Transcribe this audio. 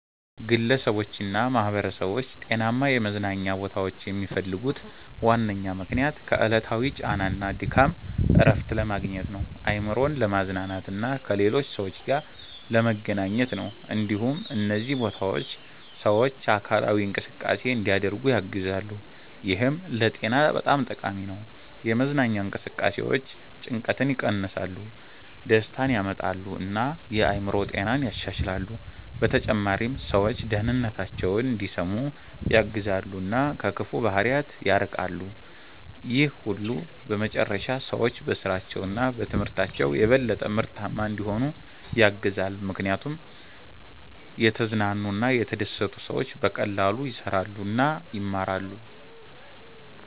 ግለሰቦችና ማኅበረሰቦች ጤናማ የመዝናኛ ቦታዎችን የሚፈልጉት ዋነኛ ምክንያት ከዕለታዊ ጫና እና ድካም እረፍት ለማግኘት፣ አእምሮን ለማዝናናት እና ከሌሎች ሰዎች ጋር ለመገናኘት ነው። እንዲሁም እነዚህ ቦታዎች ሰዎች አካላዊ እንቅስቃሴ እንዲያደርጉ ያግዛሉ፣ ይህም ለጤና በጣም ጠቃሚ ነው። የመዝናኛ እንቅስቃሴዎች ጭንቀትን ይቀንሳሉ፣ ደስታን ያመጣሉ እና የአእምሮ ጤናን ያሻሽላሉ። በተጨማሪም ሰዎች ደህንነታቸውን እንዲሰሙ ያግዛሉ እና ከክፉ ባህሪያት ይርቃሉ። ይህ ሁሉ በመጨረሻ ሰዎች በስራቸው እና በትምህርታቸው የበለጠ ምርታማ እንዲሆኑ ያግዛል፣ ምክንያቱም የተዝናኑ እና የተደሰቱ ሰዎች በቀላሉ ይሰራሉ እና ይማራሉ።